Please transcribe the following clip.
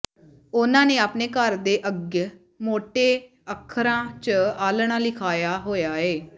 ਉਹਨਾਂ ਨੇ ਅਪਣੇ ਘਰ ਦੇ ਅੱਗ ਮੋਟੇ ਅੱਖਰਾਂ ਚ ਆਲਣਾਂ ਲਿਖਾਏਆ ਹੋਏਆ ਏ